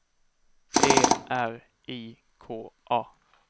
E R I K A